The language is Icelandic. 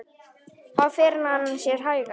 Þá fer hann sér hægar.